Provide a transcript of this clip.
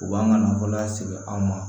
U b'an ka nafolo lasegi an ma